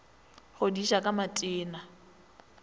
go di ja ka matena